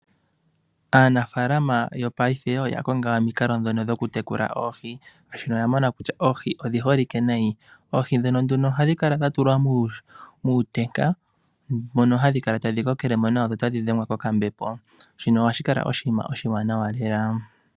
Aanafaalama yopaife oya konga omikalo ndhono dhokutekula oohi , molwaashono oya mona kutya oohi odhi holike unene. Oohi ndhono ohadhi kala dha tulwa muutenga mono hadhi kala tadhi kokele mo nawa dho tadhi dhengwa kokambepo. Shino ohashi kala oshinina oshiwanawa lela.